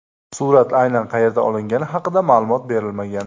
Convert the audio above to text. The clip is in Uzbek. Surat aynan qayerda olingani haqida ma’lumot berilmagan.